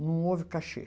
Não houve cachê.